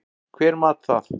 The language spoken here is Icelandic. Hver mat það?